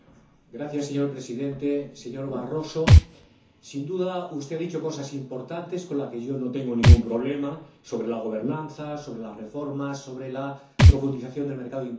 Señor Presidente, señor Barroso, sin duda usted ha dicho cosas importantes, con las que yo no tengo ningún problema sobre la gobernanza, sobre las reformas, sobre la profundización del mercado interior.